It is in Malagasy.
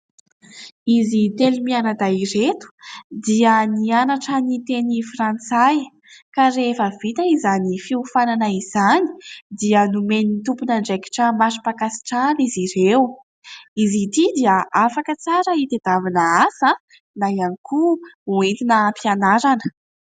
Izy telo mianadahy ireto dia nianatra ny teny frantsay ka rehefa vita izany fiofanana izany dia nomen'ny tompon'andraikitra mari-pankasitrahana izy ireo, izy ity dia afaka tsara hitadiavana asa ihany koa ho entina hampianarana.